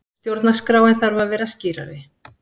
Stjórnarskráin þarf að vera skýrari